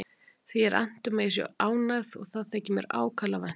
Því er annt um að ég sé ánægð og það þykir mér ákaflega vænt um.